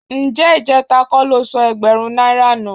Ǹjẹ́ ìjẹ́ta kọ́ lo sọ ẹgbẹ̀rún náírà nù?